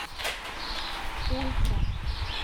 ультра